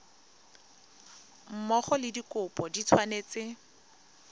mmogo le dikopo di tshwanetse